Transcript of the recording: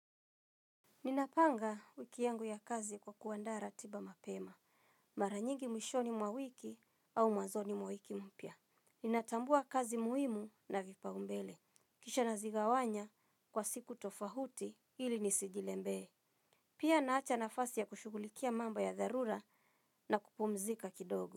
Ninapanga wiki yangu ya kazi kwa kuandaa ratiba mapema. Mara nyingi mwishoni mwa wiki au mwazoni mwa wiki mpya. Ninatambua kazi muhimu na vipau mbele. Kisha nazigawanya kwa siku tofauti ili nisijizembee. Pia naacha nafasi ya kushugulikia mamba ya dharura na kupumzika kidogo.